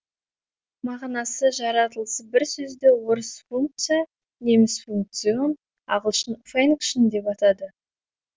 мағынасы жаратылысы бір сөзді орыс функция неміс функцион ағылшын фәнкшн деп атады